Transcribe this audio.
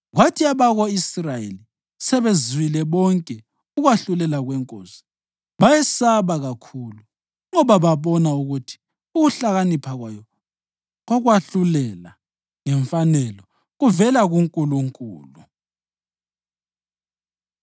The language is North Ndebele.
Kwathi abako-Israyeli sebezwile bonke ukwahlulela kwenkosi, bayesaba kakhulu, ngoba babona ukuthi ukuhlakanipha kwayo kokwahlulela ngemfanelo kuvela kuNkulunkulu.